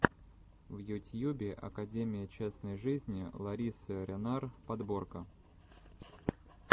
в ютьюбе академия частной жизни ларисы ренар подборка